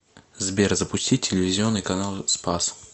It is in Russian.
сбер запустить телевизионный канал спас